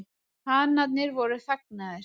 Hanarnir voru þagnaðir.